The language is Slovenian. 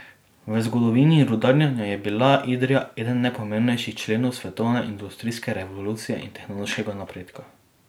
V zgodovini rudarjenja je bila Idrija eden najpomembnejših členov svetovne industrijske revolucije in tehnološkega napredka.